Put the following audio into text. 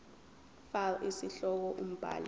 fal isihloko umbhali